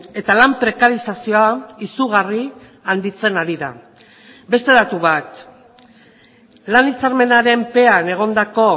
eta lan prekarizazioa izugarri handitzen ari da beste datu bat lan hitzarmenaren pean egondako